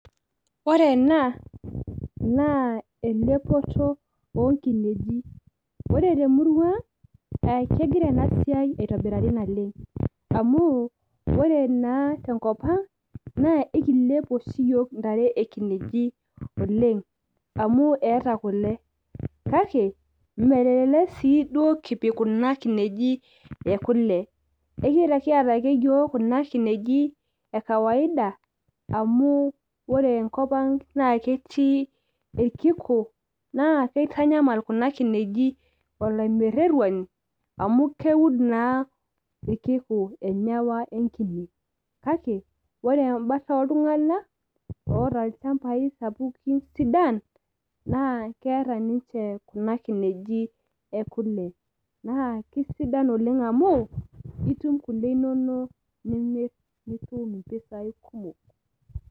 ore ena naa elepoto oo nkineji, ore temurua ang naa kegira ena siai aitobirari naleng.am ore naa tenkp ang naa ekilep oshi iyiook intare ekineji oleng amu eeta kule. kake melelk sii duo kipik kuna kineji ekule. ekiata ake yiook kuna kineji ekawaida. amu ore enkop ang naa ketii irkiku naa kitanyamal kuna kineji olaimereruani amu keud naa irkiku enyawa enkine. kake ore ebata ooltunganak oota ilchampai sapukin sidan naa keeta ninche kuna kinei ekule. naa kisida i oleng amu imir kuna le nitum mpisai kumok.